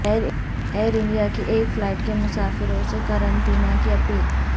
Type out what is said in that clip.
Air India کی ایک flight کے مسافروں سے قرنطینہ کی اپیل